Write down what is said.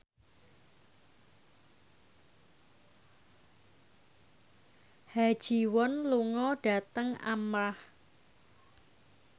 Ha Ji Won lunga dhateng Armargh